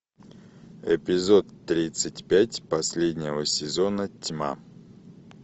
эпизод тридцать пять последнего сезона тьма